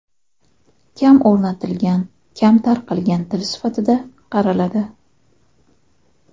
Kam o‘rgatilgan, kam tarqalgan til sifatida qaraladi.